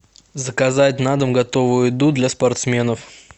заказать на дом готовую еду для спортсменов